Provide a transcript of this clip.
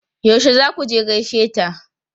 Yaushe za ku je gaishe ta?